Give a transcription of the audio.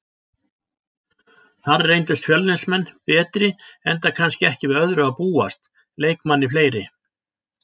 Þar reyndust Fjölnismenn betri enda kannski ekki við öðru að búast, leikmanni fleiri.